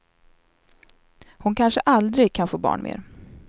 Hon kanske aldrig kan få barn mer.